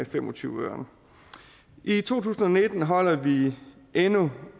fem og tyve øre i to tusind og nitten holder vi endnu